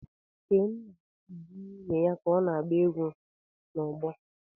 Kenna na-ele nwunye ya ka ọ na-agba egwú n'ọgbọ egwu.